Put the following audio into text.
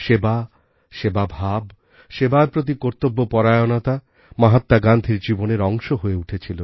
সেবা সেবাভাব সেবার প্রতি কর্তব্যপরায়ণতা মহাত্মা গান্ধির জীবনের অংশ হয়ে উঠেছিল